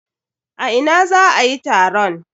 A ina za a yi taron?